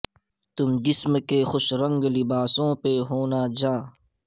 تم جسم کے خوش رنگ لباسوں پہ ہونا زاں